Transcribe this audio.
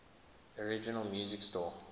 original music score